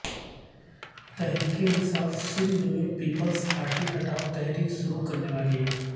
تحریک انصاف سندھ میں پیپلزپارٹی ہٹائو تحریک شروع کرنے والی ہے